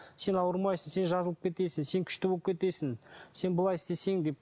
сен ауырмайсың сен жазылып кетесің сен күшті болып кетесің сен былай істесең деп